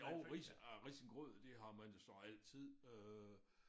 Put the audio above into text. Jo ris øh risengrød det har man jo så altid øh